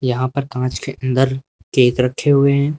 यहां पर कांच के अंदर केक रखे हुए हैं।